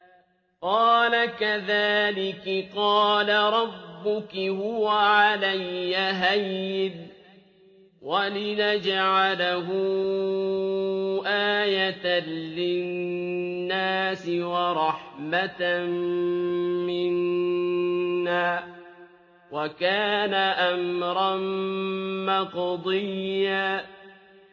قَالَ كَذَٰلِكِ قَالَ رَبُّكِ هُوَ عَلَيَّ هَيِّنٌ ۖ وَلِنَجْعَلَهُ آيَةً لِّلنَّاسِ وَرَحْمَةً مِّنَّا ۚ وَكَانَ أَمْرًا مَّقْضِيًّا